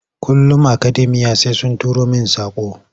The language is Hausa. Kullum akademiya sai sun turo main saƙo.